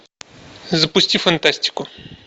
запусти фантастику